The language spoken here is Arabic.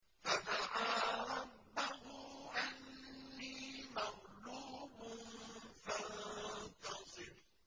فَدَعَا رَبَّهُ أَنِّي مَغْلُوبٌ فَانتَصِرْ